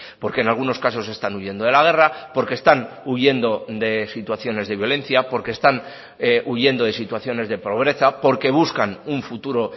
porque en algunos casos están huyendo de la guerra porque están huyendo de situaciones de violencia porque están huyendo de situaciones de pobreza porque buscan un futuro